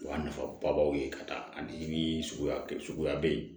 O y'a nafababaw ye ka taa ani suguya suguya bɛ yen